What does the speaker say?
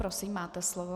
Prosím, máte slovo.